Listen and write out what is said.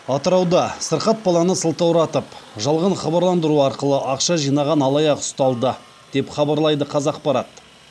атырауда сырқат баланы сылтауратып жалған хабарландыру арқылы ақша жинаған алаяқ ұсталды деп хабарлайды қазақпарат